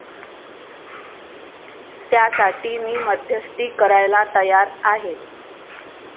त्यासाठी मी मध्यस्थी करायला तयार आहे.